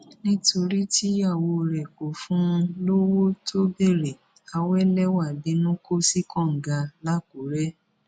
nítorí tíyàwó rẹ kò fún un lọwọ tó béèrè àwẹlẹwà bínú kò sí kànga làkùrẹ